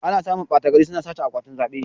Ana samun ɓata gari suna sace akwatin zaɓe